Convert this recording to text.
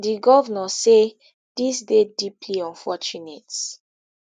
di govnor say dis dey deeply unfortunate